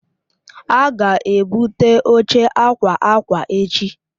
A ga-ebute oche akwa akwa echi.